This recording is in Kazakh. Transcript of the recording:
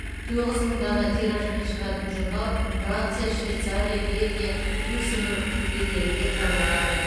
тоғыз мың дана тиражбен шығатын журнал франция швейцария бельгия люксембург елдерінде таралады